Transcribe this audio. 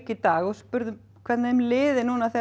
í dag og spurðum hvernig þeim liði nú þegar